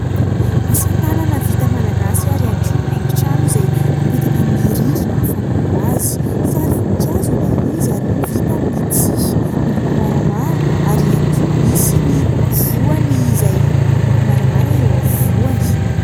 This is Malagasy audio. Asa tanana vita malagasy ary ihany koa haingo trano izay apetaka amin'ny rindrina ny fanao azy. Sary voninkazo ilay izy ary vita amin'ny tsihy miloko maramara ary ihany koa misy ny voany izay miloko maramara eo afovoany.